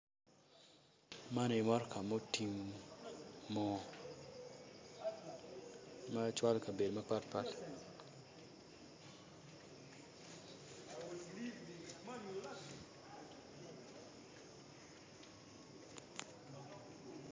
Man eni motoka mutingo moo macwalo i kabedo mapatpat